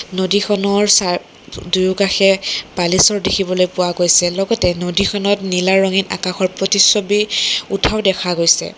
নদীখনৰ চা দু দুয়োকাষে বালিচৰ দেখিবলৈ পোৱা গৈছে লগতে নদীখনত নীলা ৰঙে আকাশৰ প্ৰতিচ্ছবি উঠৰ দেখা গৈছে।